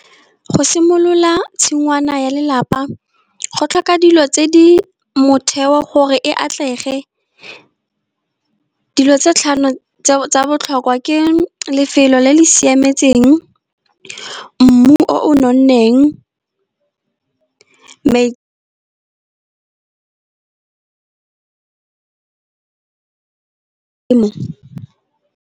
Go simolola tshingwana ya lelapa, go tlhoka dilo tse di motheo gore e atlege. Dilo tse tlhano tsa botlhokwa ke lefelo le le siametseng mmu o nonneng, .